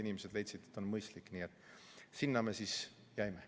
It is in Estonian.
Nad leidsid, et see on mõistlik, nii et selle juurde me siis jäime.